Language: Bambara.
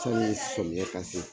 Sani samiya ka se